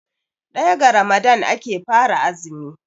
daya ga Ramadan ake fara azumi